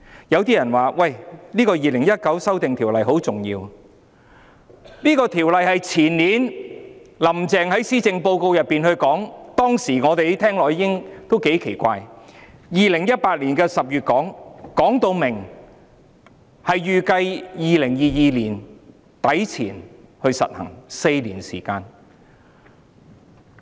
有些人說《2019年僱傭條例草案》很重要，這項《條例草案》是前年"林鄭"在施政報告內提出的，當時我們聽到也感到奇怪，她在2018年10月提出，說明預計在2022年年底前實行，相隔4年時間。